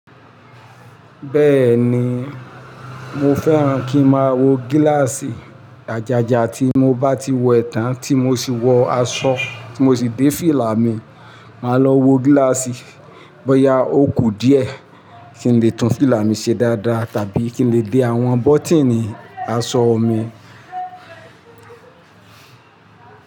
Bẹ́ẹ̀ ni, mo fẹ́ran kí n máa wọ gíláàsì àjájá tí mo bá ti wẹ̀tàn, tí mo sì wọ aṣọ, tí mo sì dé fílà mi, màá lọ wọ gíláàsì bóyá ó kù díẹ̀ kí n lè tún fílà mi ṣe dáadáa tàbí kí n lè dé àwọn bọ́tíìnì aṣọ mi.